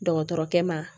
Dɔgɔtɔrɔkɛ ma